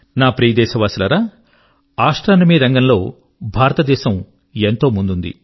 నా ప్రియ దేశవాసులారా ఆస్ట్రోనమీ రంగం లో భారతదేశం ఎంతో ముందుంది